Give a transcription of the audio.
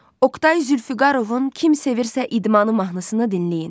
Oqtay Zülfüqarovun "Kim sevirsə idmanı" mahnısını dinləyin.